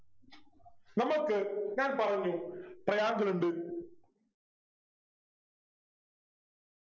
നമ്മൾക്ക് ഞാൻ പറഞ്ഞു Triangle ഉണ്ട്